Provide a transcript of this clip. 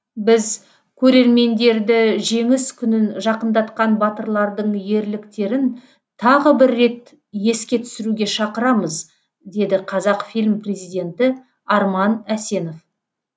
біз көрермендерді жеңіс күнін жақындатқан батырлардың ерліктерін тағы бір рет еске түсіруге шақырамыз деді қазақфильм президенті арман әсенов